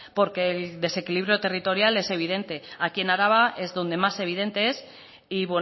porque el desequilibrio territorial es evidente aquí en araba es donde más evidente es y